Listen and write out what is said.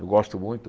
Eu gosto muito.